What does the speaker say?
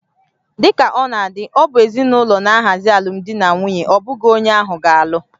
Dị ka ọ na-adị, ọ bụ ezinụlọ na-ahazi alụmdi na nwunye, ọ bụghị onye ahụ ga-alụ